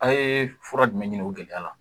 A' ye fura jumɛn ɲini o gɛlɛya la